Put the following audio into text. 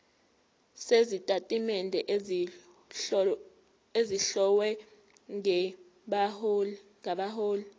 sezitatimende ezihlowe ngabahloli